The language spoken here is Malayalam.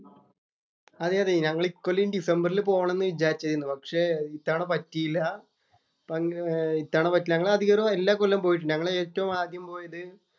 അതെ അതെ ഞങ്ങൾ ഇക്കൊല്ലംഡിസംബറില്‍ പോകണം എന്ന് വിചാരിച്ചിരുന്നു. പക്ഷേ ഇത്തവണ പറ്റിയില്ല. ഏർ ഇത്തവണ പറ്റിയില്ല. ഞങ്ങള്‍ അധികവും എല്ലാ കൊല്ലവും പോയിട്ടുണ്ട്. ഞങ്ങള്‍ ഏറ്റവും ആദ്യം പോയത്